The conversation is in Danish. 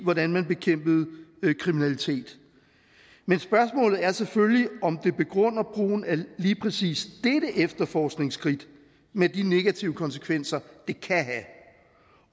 hvordan man bekæmper kriminalitet men spørgsmålet er selvfølgelig om det begrunder brugen af lige præcis dette efterforskningsskridt med de negative konsekvenser det kan have